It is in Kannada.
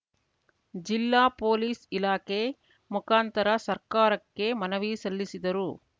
ಜಿಲ್ಲಾ ಪೊಲೀಸ್‌ ಇಲಾಖೆ ಮುಖಾಂತರ ಸರ್ಕಾರಕ್ಕೆ ಮನವಿ ಸಲ್ಲಿಸಿದರು